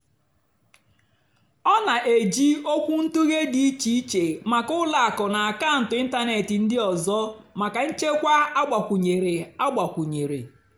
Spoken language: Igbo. ọ́ nà-èjì ókwúntụ̀ghé dì íché íché màkà ùlọ àkụ́ nà àkàụ́ntụ́ ị́ntánètị́ ndí ọ́zọ́ màkà nchèkwà àgbàkwúnyéré. àgbàkwúnyéré.